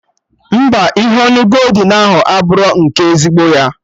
Mba, ihe onu goldin ahụ abụrọ nke ezigbo ya